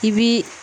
I bi